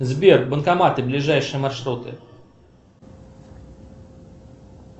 сбер банкоматы ближайшие маршруты